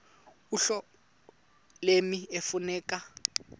uhlobo lommi ekufuneka